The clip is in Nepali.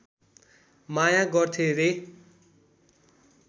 माया गर्थे रे